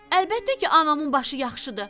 Əlbəttə ki, anamın başı yaxşıdır.